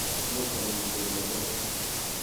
much kolin kibet machame